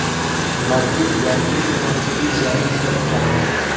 Majlis yangi konstitutsiyani ishlab chiqadi.